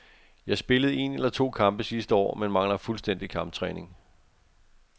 Jeg spillede en eller to kampe sidste år, men mangler fuldstændig kamptræning.